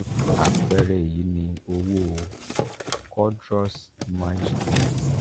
apeere eyi ni owo cordros milestone fund